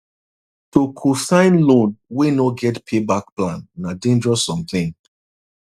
to cosign loan wey no get payback plan na dangerous something